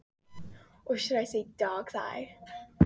Ég hef þá verið á fermingaraldri.